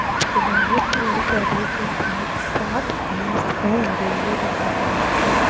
किनारे पेड़ पौधे के साथ साथ घाँस और हरियाली दिख रही है उपर--